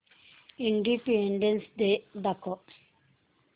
independence day दाखव